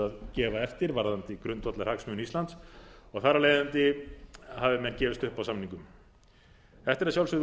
að gefa eftir varðandi grundvallarhagsmuni íslands og þar af leiðandi hafi menn gefist upp á samningum þetta er að sjálfsögðu